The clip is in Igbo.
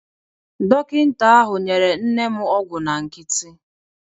Dọkịta ahụ nyere nne m ọgwụ na nkịtị.